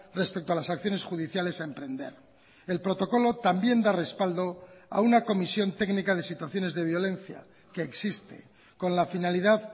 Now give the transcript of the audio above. respecto a las acciones judiciales a emprender el protocolo también da respaldo a una comisión técnica de situaciones de violencia que existe con la finalidad